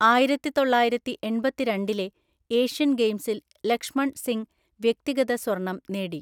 ആയിരത്തിതൊള്ളായിരത്തി എണ്‍പത്തിരണ്ടിലെ ഏഷ്യൻ ഗെയിംസിൽ ലക്ഷ്മൺ സിംഗ് വ്യക്തിഗത സ്വർണം നേടി.